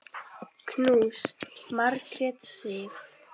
Knús, Margrét Sif.